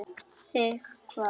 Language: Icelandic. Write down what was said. Þig hvað?